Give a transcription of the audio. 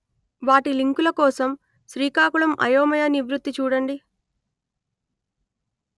వాటి లింకుల కోసం శ్రీకాకుళం అయోమయ నివృత్తి చూడండి